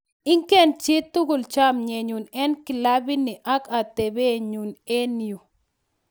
"Ingen chi tugul chomyenyun en kilabini ak ateptanyun en yu.